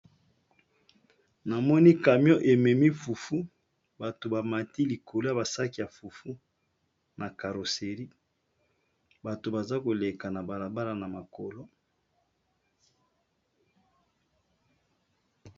Namoni camion ememi fufu bato bamati likolo ya basaki ya fufu na carosserie bato baza koleka na balabala na makolo.